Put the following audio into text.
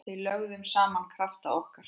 Við lögðum saman krafta okkar.